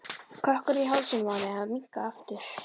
Kökkurinn í hálsinum á henni hafði minnkað aftur.